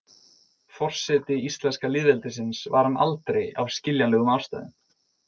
Forseti íslenska lýðveldisins var hann aldrei af skiljanlegum ástæðum.